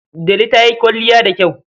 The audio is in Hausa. Delu ta yi kwalliya da kyau.